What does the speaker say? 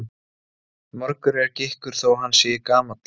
Margur er gikkur þó hann sé gamall.